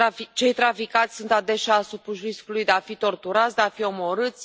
Cei traficați sunt adesea supuși riscului de a fi torturați, de a fi omorâți.